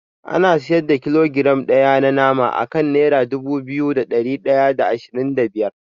An siyar da kilogiram ɗaya na nama akan nera dubu biyu da ɗari ɗaya da ashirin da biyar.